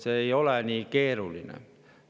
See ei ole nii keeruline.